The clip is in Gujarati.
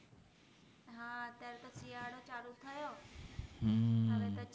શિયાળો ચાલુ થયો હવે પછી